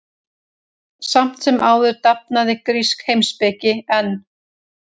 Samt sem áður dafnaði grísk heimspeki enn.